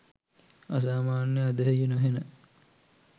අසාමාන්‍ය ඇදහිය නොහෙන